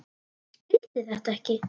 Skildi þetta ekki.